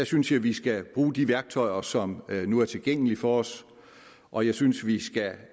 synes jeg vi skal bruge de værktøjer som nu er tilgængelige for os og jeg synes vi skal